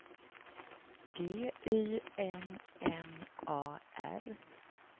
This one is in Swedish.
G Y N N A R